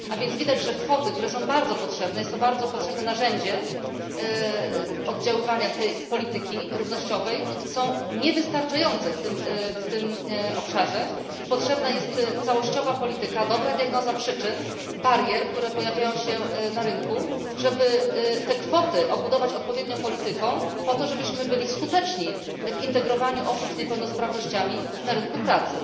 A więc widać, że kwoty które są bardzo potrzebnym narzędziem oddziaływania tej polityki równościowej są niewystarczające w tym obszarze i potrzebna jest całościowa polityka, dobra diagnoza przyczyn, barier, które pojawiają się na rynku, żeby te kwoty obudować odpowiednią polityką po to, żebyśmy byli skuteczni w integrowaniu osób z niepełnosprawnościami na rynku pracy.